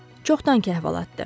çoxdankı əhvalatdır.